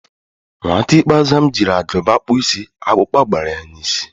Nwata ikpeazụ m jiri Agụba kpụọ isi, akpukpa gbara ya n'isi